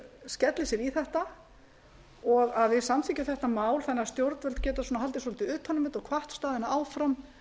skelli sér í þetta og að við samþykkjum þetta mál þannig að stjórnvöld geti haldið svolítið utan um þetta og hvatt staðina áfram þá